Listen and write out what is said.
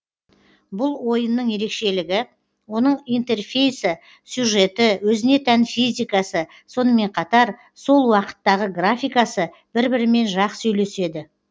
бұл ойынның ерекшелігі оның интерфейсы сюжеті өзіне тән физикасы сонымен қатар сол уақыттағы графикасы бір бірімен жақсы үйлеседі